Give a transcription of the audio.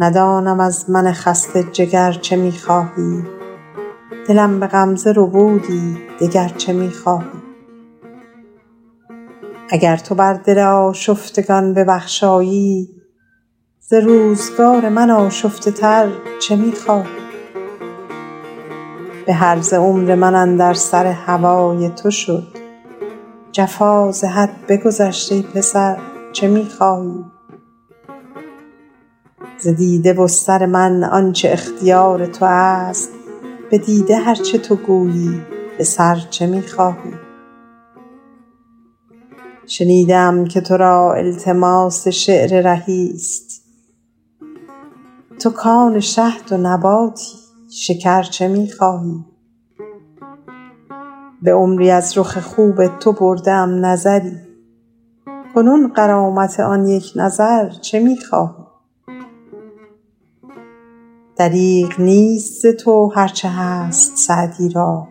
ندانم از من خسته جگر چه می خواهی دلم به غمزه ربودی دگر چه می خواهی اگر تو بر دل آشفتگان ببخشایی ز روزگار من آشفته تر چه می خواهی به هرزه عمر من اندر سر هوای تو شد جفا ز حد بگذشت ای پسر چه می خواهی ز دیده و سر من آن چه اختیار تو است به دیده هر چه تو گویی به سر چه می خواهی شنیده ام که تو را التماس شعر رهی ست تو کآن شهد و نباتی شکر چه می خواهی به عمری از رخ خوب تو برده ام نظری کنون غرامت آن یک نظر چه می خواهی دریغ نیست ز تو هر چه هست سعدی را